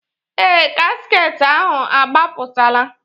Ee, gasket ahụ agbapụtala